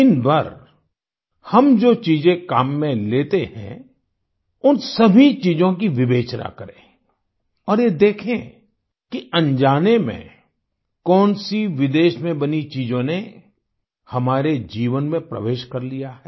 दिनभर हम जो चीजें काम में लेतेहै उन सभी चीजों की विवेचना करें और ये देखें कि अनजाने में कौन सी विदेश में बनी चीजों ने हमारे जीवन में प्रवेश कर लिया है